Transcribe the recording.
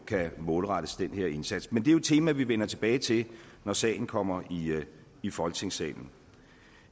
kan målrettes den her indsats men det er jo et tema vi vender tilbage til når sagen kommer i folketingssalen